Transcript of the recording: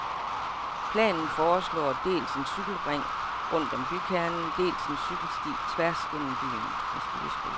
Planen foreslår dels en cykelring rundt om bykernen, dels en cykelsti tværs gennem byen.